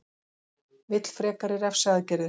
Vill frekari refsiaðgerðir